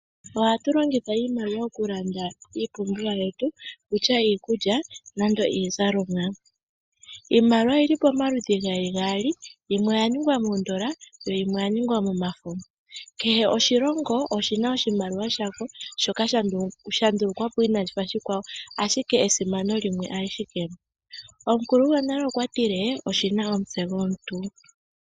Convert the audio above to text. Ohatu longitha iimaliwa okulanda iipumbiwa yetu okutya iikulya nenge iizalomwa. Iimaliwa oyi li pomaludhi geli gaali, yimwe oya ningwa moondola yo yimwe oya ningwa momafo. Kehe oshilongo oshi na oshimaliwa shasho shoka sha ndulukwa po inaashi fa oshikwawo, ashike esimano limwe alike. Omukulu gwonale okwa tile: "oshi na omutse gwomuntu".